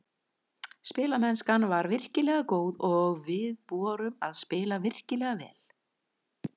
Spilamennskan var virkilega góð og við vorum að spila virkilega vel.